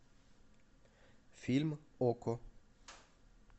фильм окко